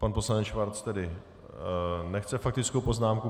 Pan poslanec Schwarz tedy nechce faktickou poznámku.